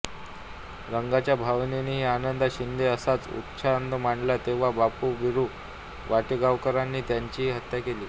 रंगाच्या भावानेही आनंदा शिंदे असाच उच्छाद मांडला तेंव्हा बापू बिरु वाटेगावकरांनी त्याचीही हत्या केली